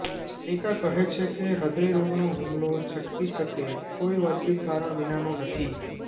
જાણીતા કહે છે કે હૃદયરોગનો હુમલો છટકી શકે કોઈ વાજબી કારણ વિનાનું નથી